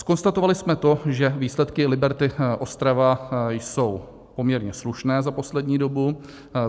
Zkonstatovali jsme to, že výsledky Liberty Ostrava jsou poměrně slušné za poslední dobu.